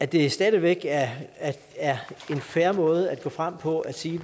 det stadig væk er en fair måde at gå frem på at sige